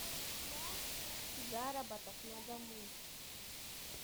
заработок на дому